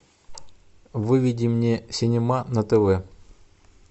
выведи мне синема на тв